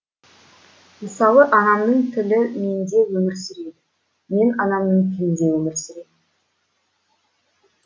мысалы анамның тілі менде өмір сүреді мен анамның тілінде өмір сүремін